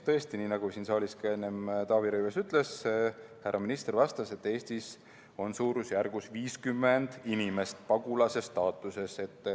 Tõesti, nii nagu siin saalis ka enne Taavi Rõivas ütles, härra minister vastas, et Eestis on suurusjärgus 50 inimest pagulase staatuses.